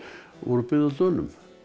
voru byggð af Dönum